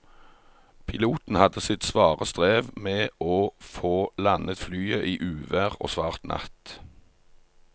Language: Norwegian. Piloten hadde sitt svare strev med å få landet flyet i uvær og svart natt.